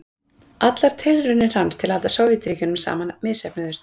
Allar tilraunir hans til að halda Sovétríkjunum saman misheppnuðust.